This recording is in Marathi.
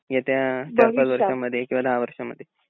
येत्या चार पाच वर्षामध्ये किंवा दहा वर्षामध्ये.